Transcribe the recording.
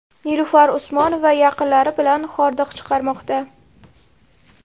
Nilufar Usmonova yaqinlari bilan hordiq chiqarmoqda.